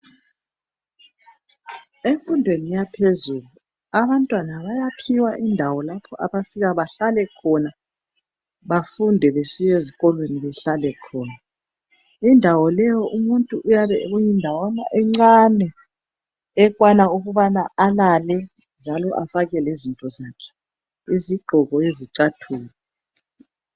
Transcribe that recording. Emfundweni yaphezulu abantwana bayaphiwa indawo lapho abafika bahlale khona bafunda besiya ezikolweni behlale khona, indawo leyo umuntu uyabe kuyindawo encane ekwana ukubana alale njalo afake lezinto zakhe izigqoko izicathulo.